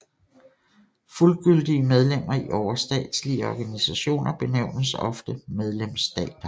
Fuldgyldige medlemmer i overstatslige organisationer benævnes ofte medlemsstater